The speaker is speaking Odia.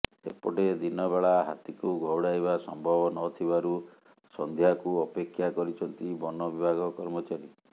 ସେପଟେ ଦିନ ବେଳା ହାତୀକୁ ଘଉଡ଼ାଇବା ସମ୍ଭବ ନଥିବାରୁ ସନ୍ଧ୍ୟାକୁ ଅପେକ୍ଷା କରିଛନ୍ତି ବନ ବିଭାଗ କର୍ମଚାରୀ